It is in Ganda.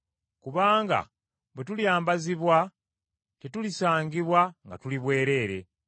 Kubanga bwe tulyambazibwa, tetulisangibwa nga tuli bwereere.